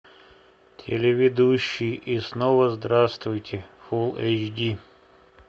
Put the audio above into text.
телеведущий и снова здравствуйте фулл эйч ди